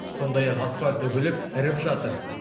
сондай ақ асфальт үгіліп іріп жатыр